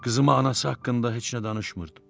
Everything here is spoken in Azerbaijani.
Qızıma anası haqqında heç nə danışmırdım.